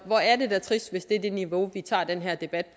hvor er det da trist hvis det er det niveau vi tager den her debat